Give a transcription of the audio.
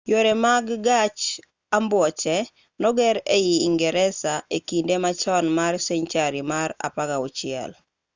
yore mag gach ambuoche noger ei ingresa e kinde machon mar senchari mar 16